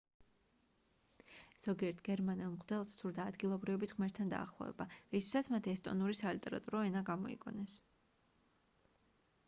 ზოგიერთ გერმანელ მღვდელს სურდა ადგილობრივების ღმერთთან დაახლოება რისთვისაც მათ ესტონური სალიტერატურო ენა გამოიგონეს